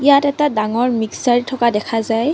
ইয়াত এটা ডাঙৰ মিকচাৰ থকা দেখা যায়।